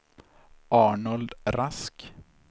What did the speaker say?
Arnold Rask